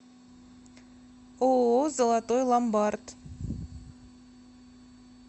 ооо золотой ломбард